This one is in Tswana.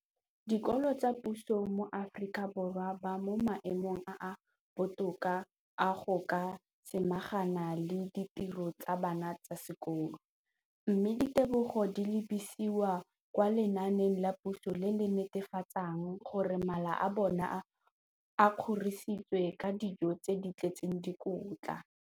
Dikolo tsa puso mo Aforika Borwa ba mo maemong a a botoka a go ka samagana le ditiro tsa bona tsa sekolo, mme ditebogo di lebisiwa kwa lenaaneng la puso le le netefatsang gore mala a bona a kgorisitswe ka dijo tse di tletseng dikotla.